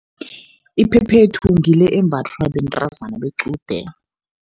Iphephethu ngile embathwa bentazana bequde.